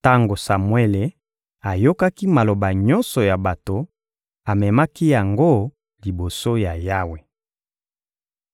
Tango Samuele ayokaki maloba nyonso ya bato, amemaki yango liboso ya Yawe.